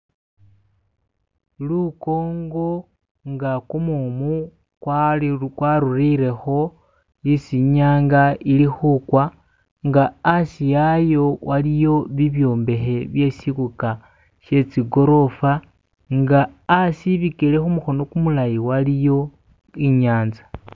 Lukongo nga gumumu gwatulileko esi inyanga ili kugwa nga asi wayo waliyo bibyombeki bye shikuka she zigolofa nga asi ibigele kumukono gumulayi waliyo inyanza.